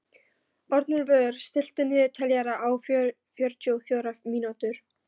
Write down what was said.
Arnúlfur, stilltu niðurteljara á fjörutíu og fjórar mínútur.